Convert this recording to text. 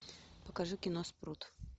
покажи кино спрут